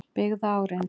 byggða á reynslu.